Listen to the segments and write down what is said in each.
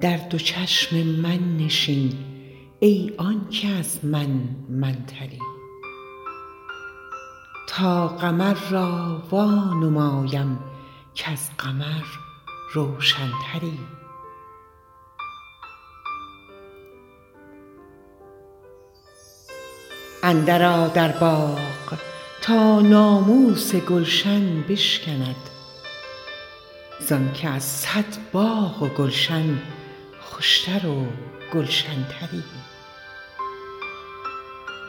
در دو چشم من نشین ای آن که از من من تری تا قمر را وانمایم کز قمر روشن تری اندرآ در باغ تا ناموس گلشن بشکند ز آنک از صد باغ و گلشن خوش تر و گلشن تری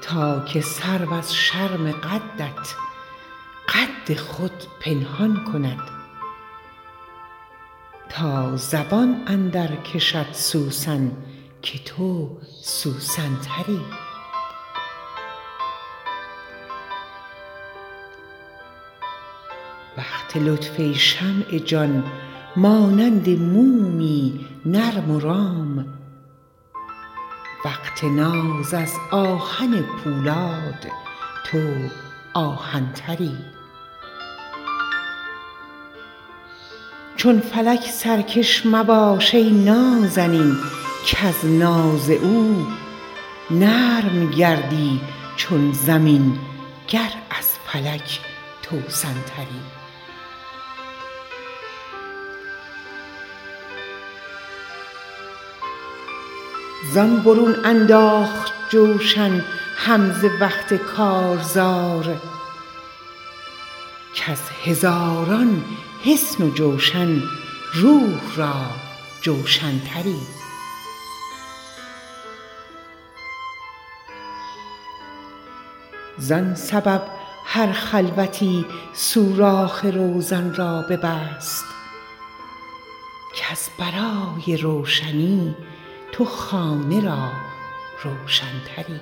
تا که سرو از شرم قدت قد خود پنهان کند تا زبان اندرکشد سوسن که تو سوسن تری وقت لطف ای شمع جان مانند مومی نرم و رام وقت ناز از آهن پولاد تو آهن تری چون فلک سرکش مباش ای نازنین کز ناز او نرم گردی چون زمین گر از فلک توسن تری زان برون انداخت جوشن حمزه وقت کارزار کز هزاران حصن و جوشن روح را جوشن تری زان سبب هر خلوتی سوراخ روزن را ببست کز برای روشنی تو خانه را روشن تری